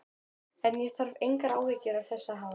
En ég þarf engar áhyggjur af þessu að hafa.